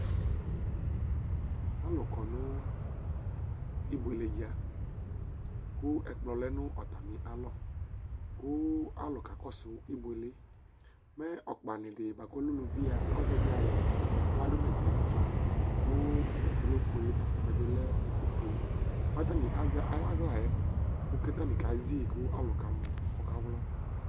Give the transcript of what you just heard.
alʊ kɔ nʊ ibuele dza, kʊ ɛkplɔ lɛ nʊ atamialɔ, kʊ alʊ kakɔsu ibuele yɛ, mɛ uluvi okpanɩ dɩ azɛvi awu kʊ adʊ bɛtɛtsɔ, kʊ bɛtɛ yɛ lɛ ofue kʊ ɛlɛnuti yɛ bɩ lɛ ufue, kʊ atanɩ azɛ ayuaɣla yɛ kʊ atanɩ kezi kʊ akamɔ kʊ ɔkawlɔ